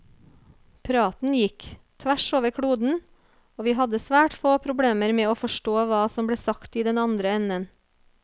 Praten gikk, tvers over kloden, og vi hadde svært få problemer med å forstå hva som ble sagt i den andre enden.